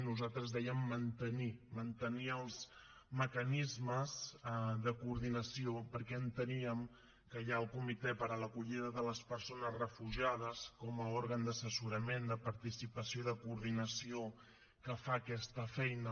nosaltres dèiem mantenir mantenir els mecanismes de coordinació perquè enteníem que hi ha el comitè per a l’acollida de les persones refugiades com a òrgan d’assessorament de participació i de coordinació que fa aquesta feina